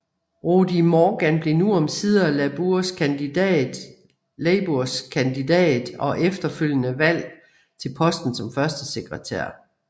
Rhodri Morgan blev nu omsider Labours kandidat og efterfølgende valgt til posten som førstesekretær